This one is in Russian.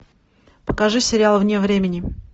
покажи сериал вне времени